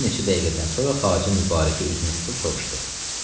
Bir neçə dəqiqədən sonra Xacə Mübarəkə üzünü tutub soruşdu: